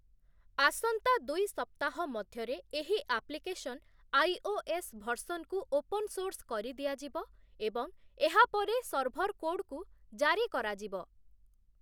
ଆସନ୍ତା ଦୁଇ ସପ୍ତାହ ମଧ୍ୟରେ ଏହି ଆପ୍ଲିକେସନ୍ ଆଇଓଏସ୍ ଭର୍ସନକୁ ଓପନ୍ ସୋର୍ସ୍ କରି ଦିଆଯିବ ଏବଂ ଏହାପରେ ସର୍ଭର୍ କୋଡ୍‌କୁ ଜାରି କରାଯିବ ।